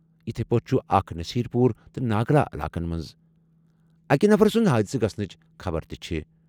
یِتھے پٲٹھۍ چھُ اکھ نصیر پوٗر تہٕ ناگلا علاقَن منٛز۔ اَکہِ نفرٕ سٕنٛدِ حٲدثہٕ گژھنٕچہِ خبرٕ چھِ ۔